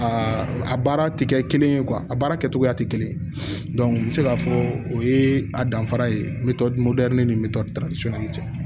Aa a baara tɛ kɛ kelen ye a baara kɛcogoya tɛ kelen ye n bɛ se k'a fɔ o ye a danfara ye ni cɛ